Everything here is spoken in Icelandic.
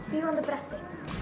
fljúgandi bretti